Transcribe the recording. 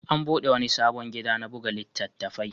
An buɗe wani sabon gida na buga littattafai.